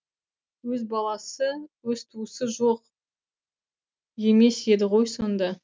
өз баласы өз туысы жоқ емес еді ғой сонда